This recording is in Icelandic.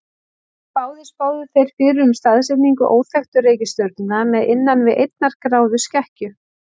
Báðir spáðu þeir fyrir um staðsetningu óþekktu reikistjörnunnar með innan við einnar gráðu skekkju.